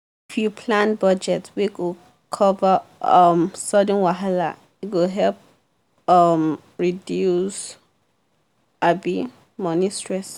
you plan budget wey go cover um sudden wahala e go help um reduce um money stress.